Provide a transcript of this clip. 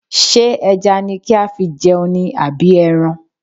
Ṣé ẹja ni kí á fi jẹun ni àbí ẹran?